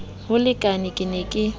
ho lekane ke ne ke